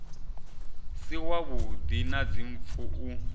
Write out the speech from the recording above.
si wavhuḓi na dzimpfu u